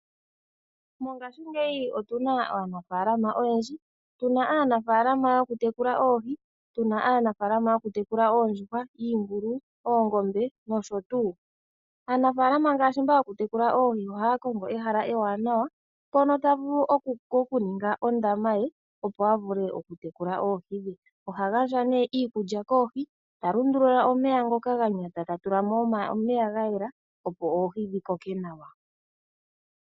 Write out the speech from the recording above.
Mongashingeyi otu na aanafaalama oyendji, tu na aanafaalama yokutekula oohi, tu na aanafaalama yokutekula oondjuhwa, iingulu, oongombe nosho tuu. Aanafaalama ngaashi mba yokutekula oohi ohaa kongo ehala ewanawa, mpono ta vulu okuninga ondama ye, opo a vule okutekula oohi dhe. Oha gandja iikulya koohi, ta lundulula omeya ngoka ga nyata, ta tula mo omeya ga yela, opo oohi dhi koke nawa.